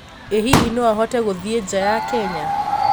ĩ hihi no ahote guthiĩ nja ya Kenya